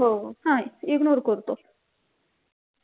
हो हा ignore करतो